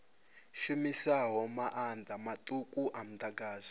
shumisaho maanḓa maṱuku a muḓagasi